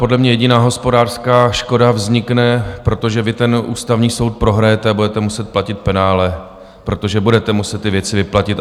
Podle mě jediná hospodářská škoda vznikne, protože vy ten Ústavní soud prohrajete a budete muset platit penále, protože budete muset ty věci vyplatit.